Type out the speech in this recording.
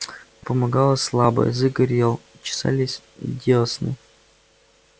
помогало слабо язык горел чесались дёсны